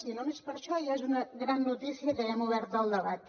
i només per això ja és una gran notícia que haguem obert del debat